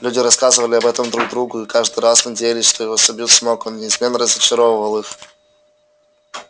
люди рассказывали об этом друг другу и каждый раз надеялись что его собьют с ног но он неизменно разочаровывал их